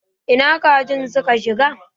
Ina kajin suka shiga?